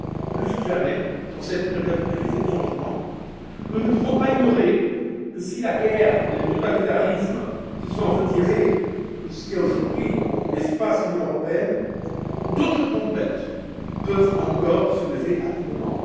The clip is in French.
Plus que jamais, en cette période de crise et de changement, nous ne pouvons pas ignorer que si la guerre et le totalitarisme se sont retirés de ce qui est, aujourd'hui, l'espace de l'Union européenne, d'autres tempêtes peuvent encore se lever à tout moment.